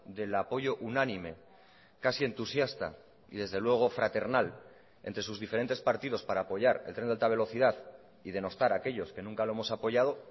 del apoyo unánime casi entusiasta y desde luego fraternal entre sus diferentes partidos para apoyar el tren de alta velocidad y denostar a aquellos que nunca lo hemos apoyado